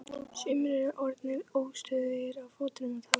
Sumir eru orðnir óstöðugir á fótunum og tala hátt.